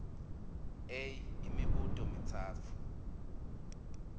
a imibuto mitsatfu